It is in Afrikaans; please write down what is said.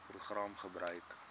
program gebruik